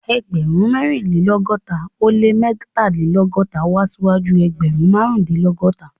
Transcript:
Ẹgbẹ̀rún mẹ́rìnlélọ́gọ́ta ó lé mẹ́tàlélọ́gọ́ta wá síwájú ẹgbẹ̀rún márùndínlọ́gọ́ta